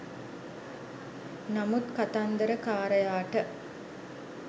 නමුත් කතන්දරකාරයාට